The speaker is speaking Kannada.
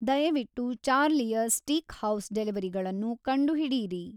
ದಯವಿಟ್ಟು ಚಾರ್ಲಿಯ ಸ್ಟೀಕ್‌ಹೌಸ್ ಡೆಲಿವರಿಗಳನ್ನು ಕಂಡುಹಿಡಿಯಿರಿ